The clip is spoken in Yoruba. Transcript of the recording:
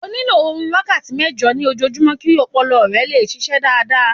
O nílò orun wákàtí mẹ́jọ ní ojojúmọ́ kí ọpọlọ rẹ lè ṣiṣẹ́ dáadáa.